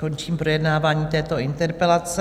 Končím projednávání této interpelace.